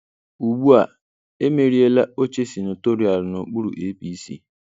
Ugbu a, emeriela oche senatorial n'okpuru APC.